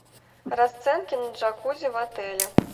расценки на джакузи в отеле